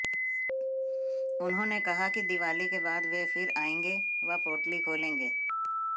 उन्होंने कहा कि दीवाली के बाद वे फिर आएंगे व पोटली खोलेंगे